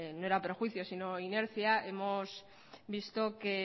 no era perjuicio sino inercia hemos visto que